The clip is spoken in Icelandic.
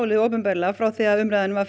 opinberlega frá því að umræðunum var